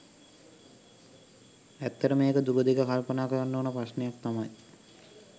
ඇත්තටම ඒක දුරදිග කල්පනා කරන්න ඕනෙ ප්‍රශ්නයක් තමයි.